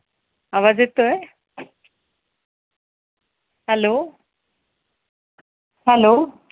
आवाज येतोय? Hello Hello